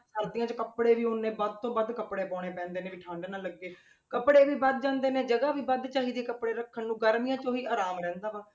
ਸਰਦੀਆਂ ਵਿੱਚ ਕੱਪੜੇ ਵੀ ਉੱਨੇ ਵੱਧ ਤੋਂ ਵੱਧ ਕੱਪੜੇ ਪਾਉਣੇ ਪੈਂਦੇ ਨੇ ਵੀ ਠੰਢ ਨਾ ਲੱਗੇ, ਕੱਪੜੇ ਵੀ ਵੱਧ ਜਾਂਦੇ ਨੇ ਤੇ ਜਗ੍ਹਾ ਵੀ ਵੱਧ ਚਾਹੀਦੀ ਹੈ ਕੱਪੜੇ ਰੱਖਣ ਨੂੰ ਗਰਮੀਆਂ 'ਚ ਉਹੀ ਆਰਾਮ ਰਹਿੰਦਾ ਵਾ।